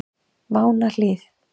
Mánahlíð